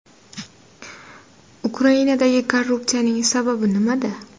Ukrainadagi korrupsiyaning sababi nimada?